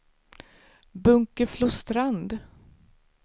Bunkeflostrand